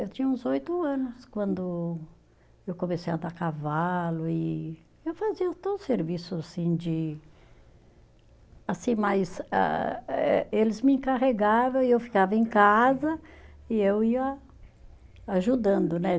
Eu tinha uns oito anos quando eu comecei a andar a cavalo e eu fazia todo o serviço, assim, de, assim, mas ah eh eles me encarregavam e eu ficava em casa e eu ia ajudando, né?